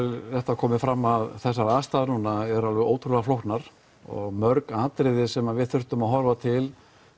það komi fram að þessar aðstæður núna eru ótrúlega flóknar og mörg atriði sem við þurfum að horfa til